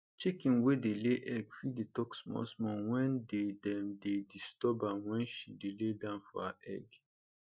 chicken wey dey ley egg fit dey talk small small wen dey dem dey disturb am wen she dey lie down for her egg